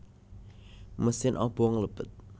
Mesin obong lebet